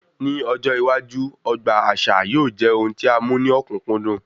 Ní ọjọ iwájú, ọgbà àṣà yóò jẹ ohun tí a mú ní okunkundun